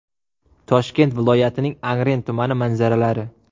Toshkent viloyatining Angren tumani manzaralari.